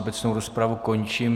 Obecnou rozpravu končím.